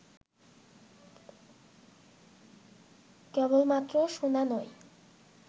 কেবলমাত্র শোনা নয়